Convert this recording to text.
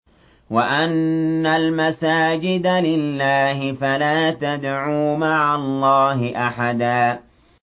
وَأَنَّ الْمَسَاجِدَ لِلَّهِ فَلَا تَدْعُوا مَعَ اللَّهِ أَحَدًا